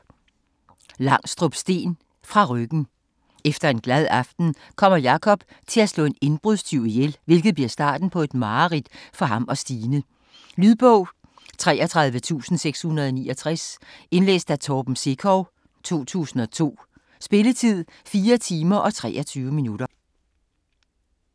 Langstrup, Steen: Fra ryggen Efter en glad aften kommer Jakob til at slå en indbrudstyv ihjel, hvilket bliver starten på et mareridt for ham og Stine. Lydbog 33669 Indlæst af Torben Sekov, 2002. Spilletid: 4 timer, 23 minutter.